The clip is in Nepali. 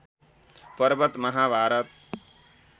पर्वत महाभारत